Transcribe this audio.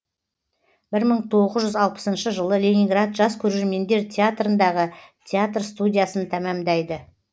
бір мың тоғыз жүз алпысыншы жылы ленинград жас көрермендер театрындағы театр студиясын тәмамдайды